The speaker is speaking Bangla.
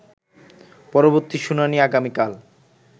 পরবর্তী শুনানি আগামীকাল